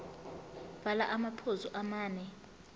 bhala amaphuzu amane